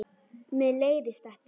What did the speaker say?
Mér leiðist þetta.